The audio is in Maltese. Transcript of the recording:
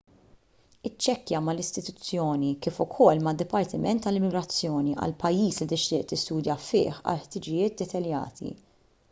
iċċekkja mal-istituzzjoni kif ukoll mad-dipartiment tal-immigrazzjoni għall-pajjiż li tixtieq tistudja fih għal ħtiġijiet dettaljati